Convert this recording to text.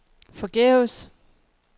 forgæves